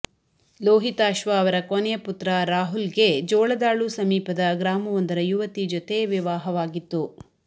ಲೋಹಿತಾಶ್ವ ಅವರ ಕೊನೆಯ ಪುತ್ರ ರಾಹುಲ್ಗೆ ಜೋಳದಾಳು ಸಮೀಪದ ಗ್ರಾಮವೊಂದರ ಯುವತಿ ಜೊತೆ ವಿವಾಹವಾಗಿತ್ತು